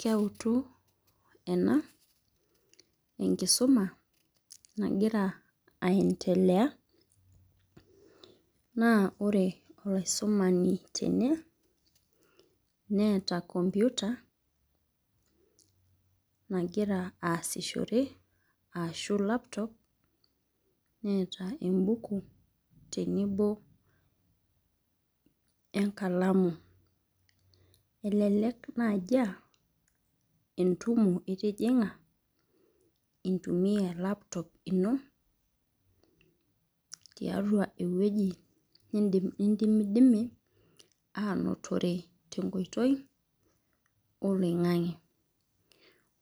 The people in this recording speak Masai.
Keutu ena ,enkisuma nagira aendelea, naa ore olasumani tene neeta computer nagira aasishore ashu laptop neeta ebuku tenebo, enkalamu. elelek naaji aa entumo itijinga intumia e laptop ino tiatua ewueji nidimidimi aanotore tenkoitoi oloingang'e.